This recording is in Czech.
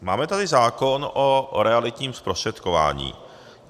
Máme tady zákon o realitním zprostředkování.